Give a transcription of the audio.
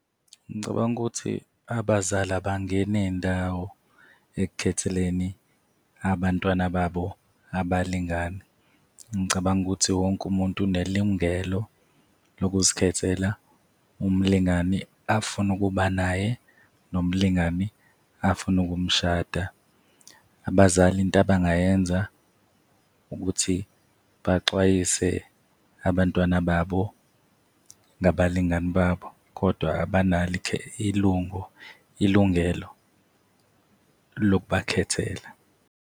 Ngicabanga ukuthi abazali abangene ndawo ekukhetheleni abantwana babo abalingani. Ngicabanga ukuthi wonke umuntu unelungelo lokuzikhethela umlingani afune ukuba naye, nomlingane afune ukumshada. Abazali into abangayenza ukuthi baxwayise abantwana babo ngabalingani babo, kodwa abanalo ilungelo lokubakhethela.